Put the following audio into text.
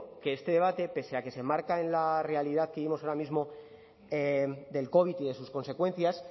que este debate pese a que se enmarca en la realidad que vivimos ahora mismo del covid y de sus consecuencias